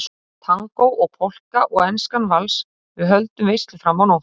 Tangó og Polka og Enskan vals, við höldum veislu fram á nótt